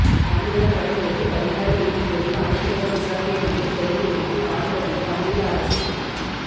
தமிழினப் படுகொலைக்கு பரிகார நீதி கோரி அனைத்துலக விசாரணை நோக்கிய செயல்முனைப்பில் நாடு கடந்த தமிழீழ அரசு தீவிரம்